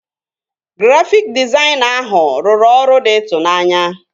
Grafịk dịzaịna ahụ rụrụ ọrụ dị ịtụnanya